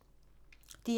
DR1